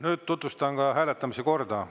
Nüüd tutvustan hääletamise korda.